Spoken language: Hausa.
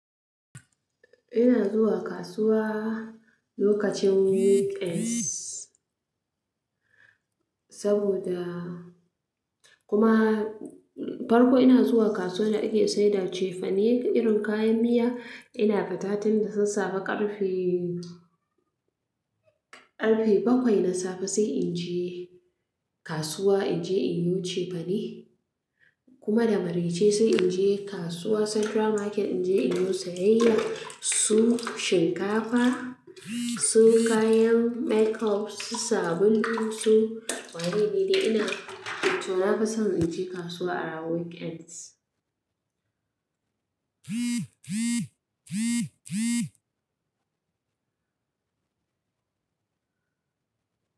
Ina zuwa kasuwa lokacin weekends. Saboda kuma, farko ina zuwa kasuwar da ake saida cefane irin kayan miya. Ina fita tun da sassafe ƙarfe, ƙarfe bakwai na safe sai in je kasuwa in je inyi cefane kuma da maraice sai in je kasuwa central market in je inyi sayayyar su shinkafa, su kayan makeup, su sabulu su. Wallahi ni dai ina, to na fi son in je kasuwa a ranar weekends.